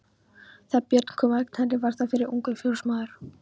Þegar Björn kom að Knerri var þar fyrir ungur fjósamaður.